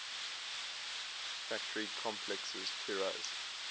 factory complexes tiraz